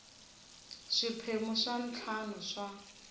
swiphemu swa ntlhanu swa